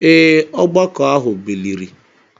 ee, ọgbakọ ahụ biliri.